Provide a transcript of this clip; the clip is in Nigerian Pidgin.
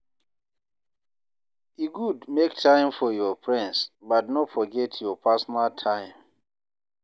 E good make time for your friends, but no forget your personal time.